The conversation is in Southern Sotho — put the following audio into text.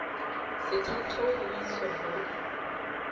sethatho ho iswa ho e